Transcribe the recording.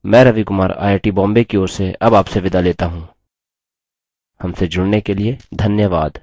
मैं Ravi Kumar I I T Bombay की ओर से अब आपसे विदा लेता हूँ हमसे जुड़ने के लिए धन्यवाद